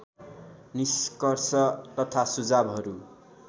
निष्कर्ष तथा सुझावहरू